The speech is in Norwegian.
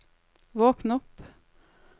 våkn opp